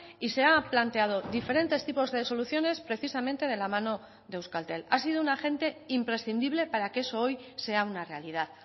y se ha planteado diferentes tipos de soluciones precisamente de la mano de euskaltel ha sido un agente imprescindible para que eso hoy sea una realidad